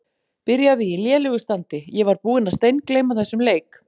Byrjaði í lélegu standi Ég var búinn að steingleyma þessum leik.